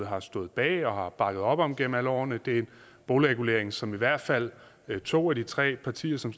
har stået bag og har bakket op om gennem alle årene og det er en boligregulering som i hvert fald to af de tre partier som